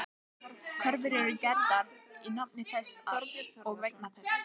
Kröfur eru gerðar í nafni þess og vegna þess.